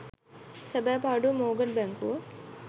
සැබෑ පාඩුව මෝර්ගන් බැංකුව